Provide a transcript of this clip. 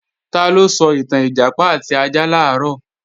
Taló sọ ìtàn Ìjàpá àti ajá làárọ̀?